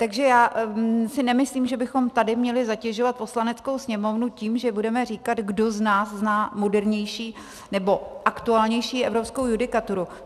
Takže já si nemyslím, že bychom tady měli zatěžovat Poslaneckou sněmovnu tím, že budeme říkat, kdo z nás zná modernější nebo aktuálnější evropskou judikaturu.